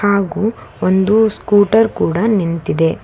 ಹಾಗು ಒಂದು ಸ್ಕೂಟರ್ ಕೂಡ ನಿಂತಿದೆ.